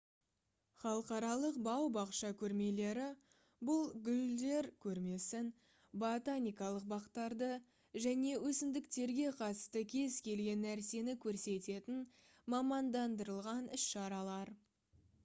халықаралық бау-бақша көрмелері бұл гүлдер көрмесін ботаникалық бақтарды және өсімдіктерге қатысты кез-келген нәрсені көрсететін мамандандырылған іс-шаралар